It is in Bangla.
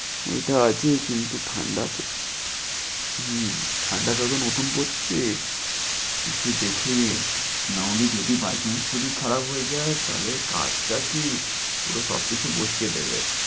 এইটা আছে, কিন্তু ঠাণ্ডা খুব হম ঠণ্ডা যখন নতুন পরছে, একটু দেখি না হলে যদি by chance শরীর খারাপ হয়ে যায়, তাহলে কাজ টা কি পুরো সবকিছু বসিয়ে দেবে।